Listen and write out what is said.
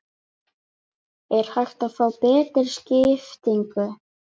Er hægt að fá betri skiptingu?